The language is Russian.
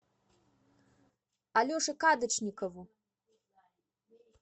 алеше кадочникову